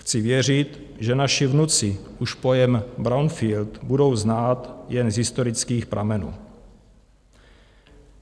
Chci věřit, že naši vnuci už pojem brownfield budou znát jen z historických pramenů.